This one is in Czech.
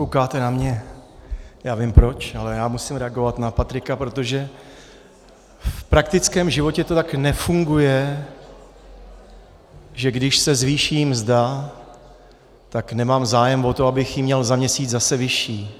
Koukáte na mě, já vím proč, ale já musím reagovat na Patrika, protože v praktickém životě to tak nefunguje, že když se zvýší mzda, tak nemám zájem o to, abych ji měl za měsíc zase vyšší.